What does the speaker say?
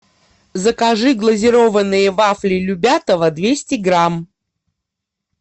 закажи глазированные вафли любятово двести грамм